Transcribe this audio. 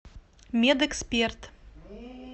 медэксперт